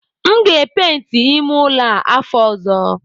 M ga epenti ime ụlọ a afọ ọzọ